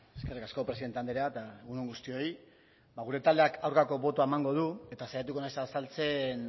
eskerrik asko presidente andrea eta egun on guztioi ba gure taldeak aurkako taldea emango du eta saiatuko naiz azaltzen